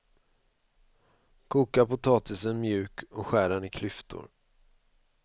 Koka potatisen mjuk och skär den i klyftor.